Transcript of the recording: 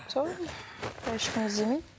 сол былай ешкім іздемейді